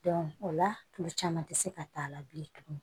o la tulu caman tɛ se ka k'a la bilen tuguni